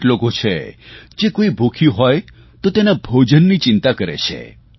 અનેક લોકો છે જે કોઇ ભૂખ્યું હોય તો તેના ભોજનની ચિંતા કરે છે